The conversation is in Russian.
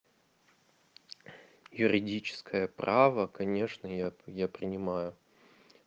юридическое право конечно я я принимаю